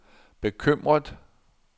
bekymret